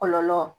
Kɔlɔlɔ